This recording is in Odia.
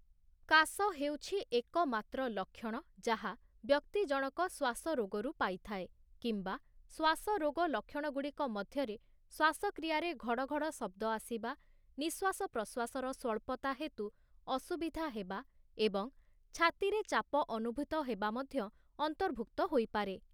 କାଶ ହେଉଛି ଏକମାତ୍ର ଲକ୍ଷଣ ଯାହା ବ୍ୟକ୍ତିଜଣକ ଶ୍ୱାସରୋଗରୁ ପାଇଥାଏ, କିମ୍ବା ଶ୍ୱାସରୋଗ ଲକ୍ଷଣଗୁଡ଼ିକ ମଧ୍ୟରେ ଶ୍ୱାସକ୍ରିୟାରେ ଘଡ଼ଘଡ଼ ଶବ୍ଦ ଆସିବା, ନିଶ୍ୱାସ ପ୍ରଶ୍ୱାସର ସ୍ଵଳ୍ପତା ହେତୁ ଅସୁବିଧା ହେବା, ଏବଂ ଛାତିରେ ଚାପ ଅନୁଭୂତ ହେବା ମଧ୍ୟ ଅନ୍ତର୍ଭୁକ୍ତ ହୋଇପାରେ ।